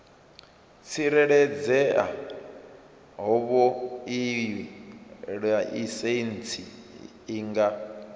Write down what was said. tsireledzea havhoiyi laisentsi i nga